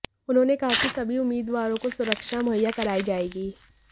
उन्होंने कहा कि सभी उम्मीदवारों को सुरक्षा मुहैया कराई जाएगी